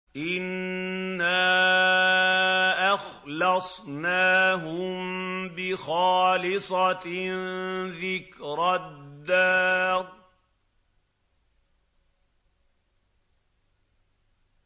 إِنَّا أَخْلَصْنَاهُم بِخَالِصَةٍ ذِكْرَى الدَّارِ